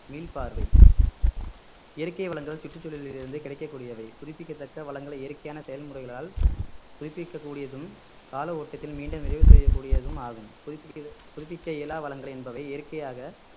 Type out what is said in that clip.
மீள்பார்வை இயற்கை வளங்கள் சுற்றுச்சூழலில் இருந்து கிடைக்கக்கூடியவை புதுப்பிக்கத்தக்க வளங்களை இயற்கையான செயல்முறைகளால் புதுப்பிக்க கூடியதும் கால ஓட்டத்தில் மீண்டும் நிறைவு செய்யக்கூடியதும் ஆகும் புதுப்பிக்க புதுப்பிக்க இயலா வளங்கள் என்பவை இயற்கையாக